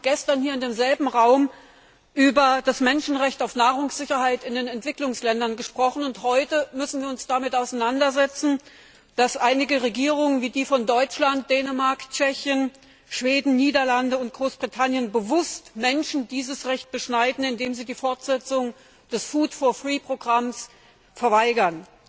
Wir haben gestern hier in demselben Raum über das Menschenrecht auf Nahrungssicherheit in den Entwicklungsländern gesprochen, und heute müssen wir uns damit auseinandersetzen, dass einige Regierungen wie die von Deutschland, Dänemark, Tschechien, Schweden, den Niederlanden und Großbritannien bewusst Menschen dieses Recht beschneiden, indem sie die Fortsetzung des Programms Kostenlose Lebensmittel verweigern.